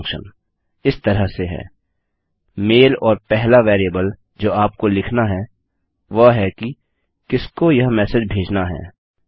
मैल function इस तरह से है - मेल और पहला वेरिएबल जो आपको लिखना है वह है कि किसको यह मेसेज भेजना है